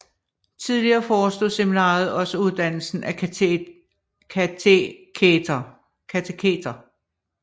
Tidligere forestod seminariet også uddannelsen af kateketer